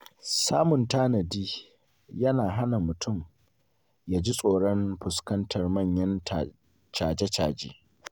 Samun tanadi yana hana mutum jin tsoron fuskantar manyan caje-caje.